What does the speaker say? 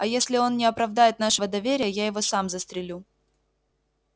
а если он не оправдает нашего доверия я его сам застрелю